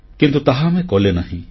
କିନ୍ତୁ ତାହା ଆମେ କଲେନାହିଁ